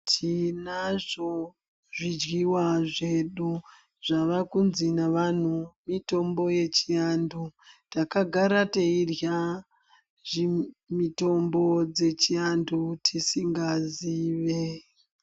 Tinazvo zvidyiwa zvedu zvavakunzi neantu mitombo yechiantu . Takagara tairya mitombo dzechivantu tisingazvizive.